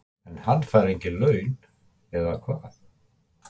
En hann fær engin laun, eða hvað?